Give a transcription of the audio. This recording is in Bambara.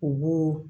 U b'o